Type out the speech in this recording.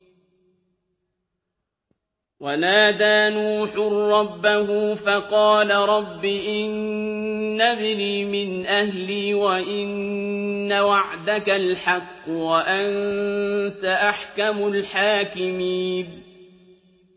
وَنَادَىٰ نُوحٌ رَّبَّهُ فَقَالَ رَبِّ إِنَّ ابْنِي مِنْ أَهْلِي وَإِنَّ وَعْدَكَ الْحَقُّ وَأَنتَ أَحْكَمُ الْحَاكِمِينَ